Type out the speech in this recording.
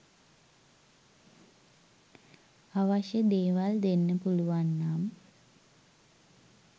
අවශ්‍ය දේවල් දෙන්න පුළුවන් නම්